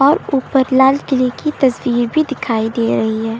और उपर लालकिले की तस्वीर भी दिखाई दे रही है।